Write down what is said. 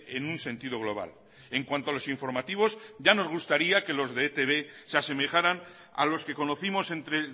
en un sentido global en cuanto a los informativos ya nos gustaría que los de etb se asemejaran a los que conocimos entre